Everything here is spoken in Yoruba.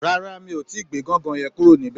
Rárá, mi ò tíì gbé gangan yẹn kúrò níbẹ̀?